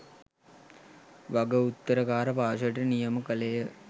වග උත්තරකාර පාර්ශවයට නියම කළේය